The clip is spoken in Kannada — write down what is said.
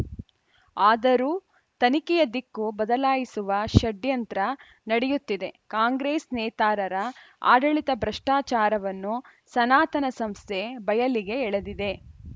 ಆದರೂ ತನಿಖೆಯ ದಿಕ್ಕು ಬದಲಾಯಿಸುವ ಷಡ್ಯಂತ್ರ ನಡೆಯುತ್ತಿದೆ ಕಾಂಗ್ರೆಸ್‌ ನೇತಾರರ ಆಡಳಿತ ಭ್ರಷ್ಟಾಚಾರವನ್ನು ಸನಾತನ ಸಂಸ್ಥೆ ಬಯಲಿಗೆ ಎಳೆದಿದೆ